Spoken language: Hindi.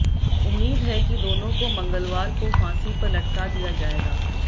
उम्मीद है कि दोनों को मंगलवार को फांसी पर लटका दिया जाएगा